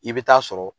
I bɛ taa sɔrɔ